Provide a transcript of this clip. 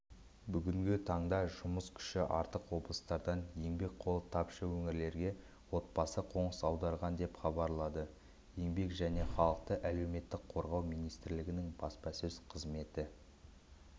бүгінгі таңда жұмыс күші артық облыстардан еңбек қолы тапшы өңірлерге отбасы қоныс аударған деп хабарлады еңбек және халықты әлеуметтік қорғау министрлігінің баспасөз қызметі